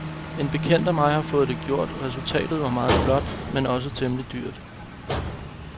En bekendt af mig har fået det gjort, resultatet var meget flot, men også temmelig dyrt.